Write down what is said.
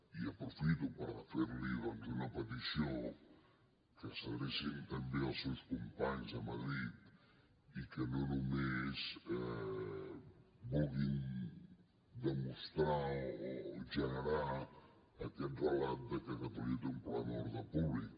i aprofito per fer li doncs una petició que s’adrecin també als seus companys a madrid i que no només vulguin demostrar o generar aquest relat de que catalunya té un problema d’ordre públic